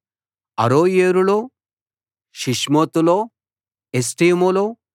అరోయేరులో షిప్మోతులో ఎష్టేమోలో